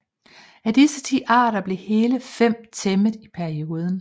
Af disse ti arter blev hele fem tæmmet i perioden